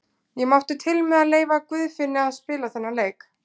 Ég mátti til með að leyfa Guðfinni að spila þennan leik.